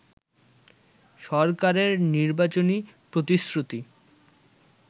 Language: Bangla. সরকারের নির্বাচনী প্রতিশ্রুতি